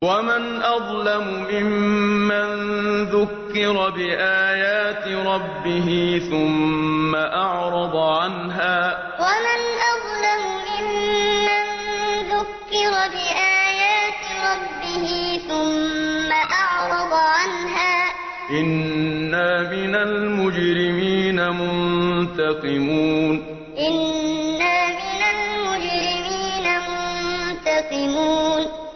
وَمَنْ أَظْلَمُ مِمَّن ذُكِّرَ بِآيَاتِ رَبِّهِ ثُمَّ أَعْرَضَ عَنْهَا ۚ إِنَّا مِنَ الْمُجْرِمِينَ مُنتَقِمُونَ وَمَنْ أَظْلَمُ مِمَّن ذُكِّرَ بِآيَاتِ رَبِّهِ ثُمَّ أَعْرَضَ عَنْهَا ۚ إِنَّا مِنَ الْمُجْرِمِينَ مُنتَقِمُونَ